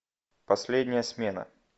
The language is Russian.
последняя смена